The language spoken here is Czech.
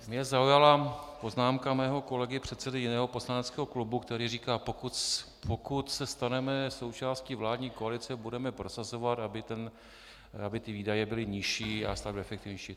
Mě zaujala poznámka mého kolegy, předsedy jiného poslaneckého klubu, který říká: pokud se staneme součástí vládní koalice, budeme prosazovat, aby ty výdaje byly nižší a stát efektivnější.